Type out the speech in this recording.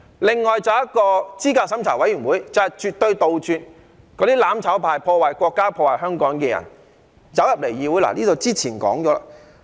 此外，候選人資格審查委員會是為了絕對杜絕"攬炒派"、破壞國家及香港的人加入議會，這些之前已說過了。